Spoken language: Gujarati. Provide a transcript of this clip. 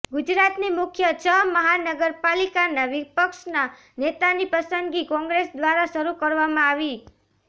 ગુજરાતની મુખ્ય છ મહાનગર પાલિકાના વિપક્ષના નેતાની પસંદગી કોંગ્રેસ દ્વારા શરૂ કરવામાં આવી